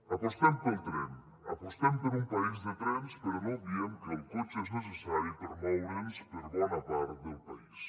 apostem pel tren apostem per un país de trens però no obviem que el cotxe és necessari per moure’ns per bona part del país